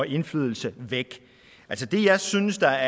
indflydelse væk det jeg synes er